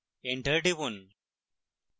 enter টিপুন